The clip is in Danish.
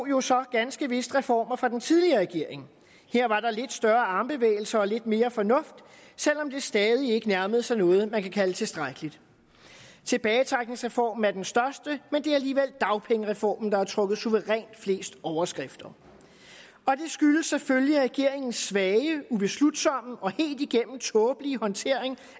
jo så ganske vist reformer fra den tidligere regering her var der lidt større armbevægelser og lidt mere fornuft selv om det stadig ikke nærmede sig noget man kan kalde tilstrækkeligt tilbagetrækningsreformen er den største men det er alligevel dagpengereformen der har trukket suverænt flest overskrifter og det skyldes selvfølgelig regeringens svage ubeslutsomme og helt igennem tåbelige håndtering